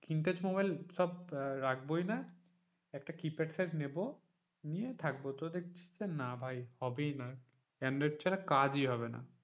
Screen touch সব mobile রাখবোই না একটা কিপ্যাড সেট নেবো, নিয়ে থাকবো নিয়ে দেখছি না ভাই হবেই না অ্যান্ড্রয়েড ছাড়া কাজই হবে না,